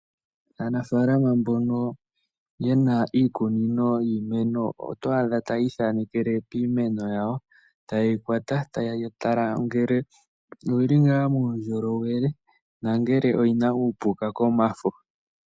Aanafalama mbono yena iikunino yiimeno oto adha tayi ithanekele kiimeno yawo, taye yi kwata, taye yi tala ngele oyili ngaa muundjolowele na ngele oyina uupuka komafo.